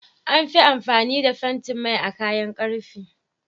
Anfi amfani da fentin Mai a kayan karfe